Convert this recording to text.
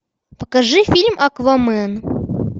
покажи фильм аквамен